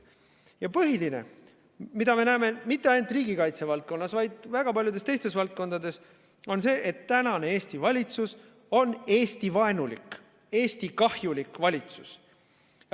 Ja põhiline, mida me näeme mitte ainult riigikaitse valdkonnas, vaid väga paljudes teistes valdkondades, on see, et tänane Eesti valitsus on Eesti-vaenulik ja Eestile kahjulik valitsus.